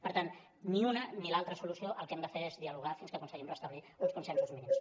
per tant ni una ni l’altra solució el que hem de fer és dialogar fins que aconse·guim restablir uns consensos mínims